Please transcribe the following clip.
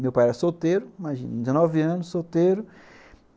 Meu pai era solteiro, imagina, dezenove anos, solteiro.